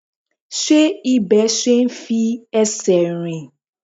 Ṣé ibẹ̀ ṣe é fi ẹsẹ̀ rìn?